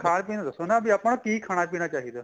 ਖਾਣਾ ਪੀਣਾ ਦੱਸੋ ਨਾ ਵੀ ਆਪਾਂ ਨੂੰ ਕੀ ਖਾਣਾ ਪੀਣਾ ਚਾਹੀਦਾ